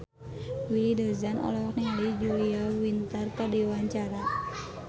Willy Dozan olohok ningali Julia Winter keur diwawancara